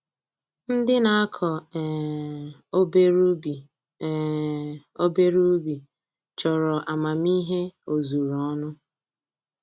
Ndị na-akọ um obere ubi um obere ubi chọrọ amamihe ozuru ọnụ